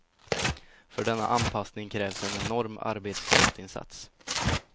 För denna anpassning krävs en enorm arbetskraftsinsats.